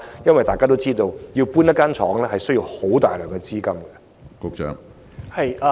因大家都知道，遷移工廠需要大量資金。